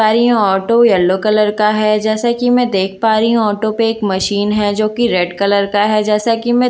पर ये auto yellow colour का है जैसा कि मैं देख पा रही हूं ऑटो पे एक मशीन है जो कि रेड कलर का है जैसा कि मैं --